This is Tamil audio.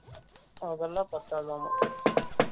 அதுலாம் பாத்தது அவங்களுக்கு